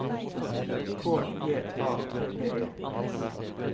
K J A P P E